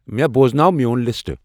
مےٚ بوٚزناو میون لِسٹہٕ